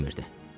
Guya ki bilmirdi.